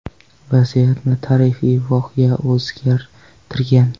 Vaziyatni tarixiy voqea o‘zgartirgan.